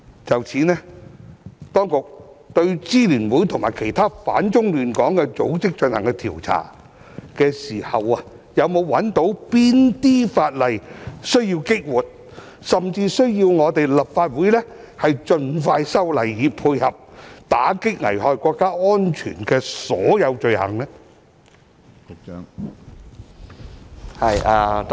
就此，當局對支聯會及其他反中亂港的組織進行調查的時候，有否發現哪些法例需要激活，甚至需要立法會盡快修例，以配合打擊危害國家安全的所有罪行呢？